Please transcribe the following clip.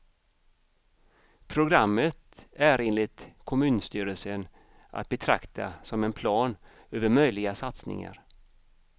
Programmet är enligt kommunstyrelsen att betrakta som en plan över möjliga satsningar.